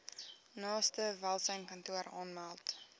naaste welsynskantoor aanmeld